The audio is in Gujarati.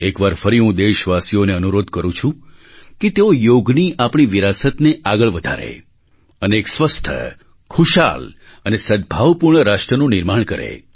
એક વાર ફરી હું દેશવાસીઓને અનુરોધ કરું છું કે તેઓ યોગની આપણી વિરાસતને આગળ વધારે અને એક સ્વસ્થ ખુશહાલ અને સદભાવપૂર્ણ રાષ્ટ્રનું નિર્માણ કરે